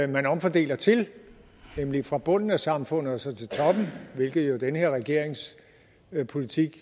man omfordeler til nemlig fra bunden af samfundet og så til toppen hvilket den her regerings politik